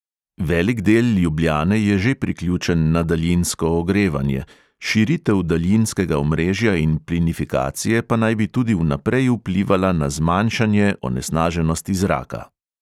Velik del ljubljane je že priključen na daljinsko ogrevanje, širitev daljinskega omrežja in plinifikacije pa naj bi tudi vnaprej vplivala na zmanjšanje onesnaženosti zraka.